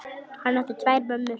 Hann átti tvær mömmur.